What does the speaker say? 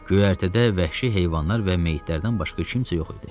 Göyərtədə vəhşi heyvanlar və meyitlərdən başqa kimsə yox idi.